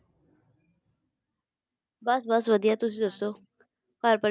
ਬਸ ਬਸ ਵਧੀਆ ਤੁਸੀ ਦੱਸੋ ਘਰ ਪਰਿਵਾਰ ਸਭ ਠੀਕ ਐ